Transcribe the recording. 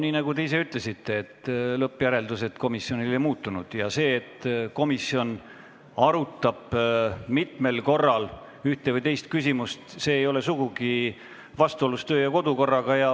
Nii nagu te ise ütlesite, siis lõppjäreldused komisjonil ei muutunud, ja see, et komisjon arutab mitmel korral ühte või teist küsimust, ei ole kodu- ja töökorraga sugugi vastuolus.